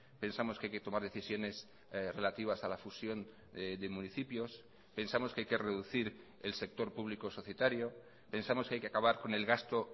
pensamos que hay que tomar decisiones relativas a la fusión de municipios pensamos que hay que reducir el sector público societario pensamos que hay que acabar con el gasto